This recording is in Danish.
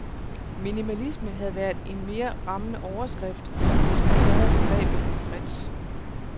Minimalisme havde været en mere rammende overskrift, hvis man tager begrebet lidt bredt.